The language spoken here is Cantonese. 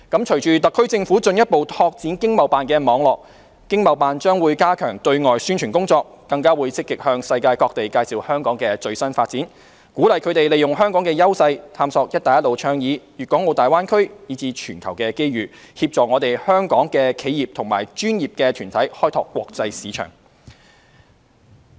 隨着特區政府進一步拓展經貿辦的網絡，經貿辦將加強對外宣傳工作，更積極向世界各地介紹香港的最新發展，鼓勵他們利用香港的優勢探索"一帶一路"倡議、大灣區，以至全球的機遇，協助香港的企業和專業團體開拓國際市場。